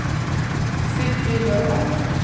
Sigfrid Løberg